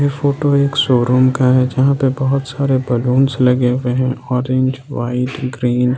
Photo एक showroom का है जहां पर बहुत सारे बलूंस लगे हुए हैं ऑरेंज वाइट ग्रीन ।